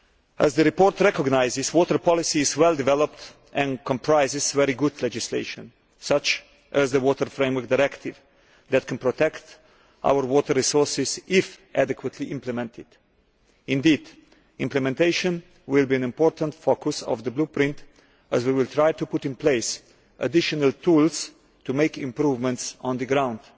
As the report recognises, water policy is well developed and comprises very good legislation, such as the Water Framework Directive, that can protect our water resources if adequately implemented. Indeed, implementation will be an important focus of the Blueprint, as we will try to put in place additional tools to make improvements on the ground.